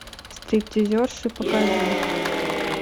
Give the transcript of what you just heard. стриптизерши покажи